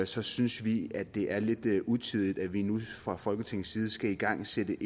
så synes vi det er lidt utidigt at vi nu fra folketingets side skal igangsætte